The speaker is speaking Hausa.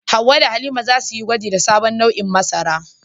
Hawwa da Halima za su yi gwaji da sabon nau'in masara.